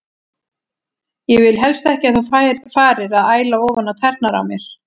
Ég vil helst ekki að þú farir að æla ofan á tærnar á mér.